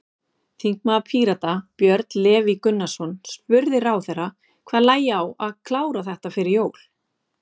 Þingmaður Pírata, Björn Leví Gunnarsson, spurði ráðherra hvað lægi á að klára þetta fyrir jól?